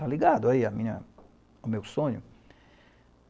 Tá ligado aí a minha... o meu sonho?